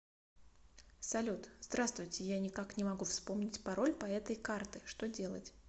салют здравствуйте я ни как не могу вспомнить пароль по этой карты что делать